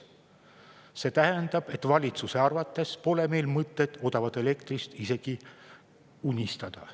See tähendab, et valitsuse arvates pole meil mõtet odavast elektrist isegi unistada.